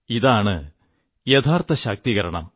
ഇതാണ് യഥാർഥ ശാക്തീകരണം